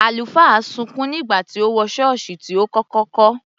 Àlùfáà sunkún nígbà tí ó wọ ṣọ́ọ̀ṣì tí ó kọ́kọ́ kọ́.